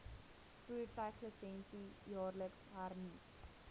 voertuiglisensie jaarliks hernu